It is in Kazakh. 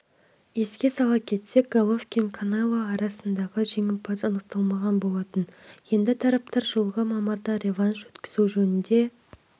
еске сала кетсек головкин канело айқасында жеңімпаз анықталмаған болатын енді тараптар жылғы мамырда реванш өткізу жөнінде